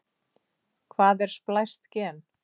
Hvað er splæst gen?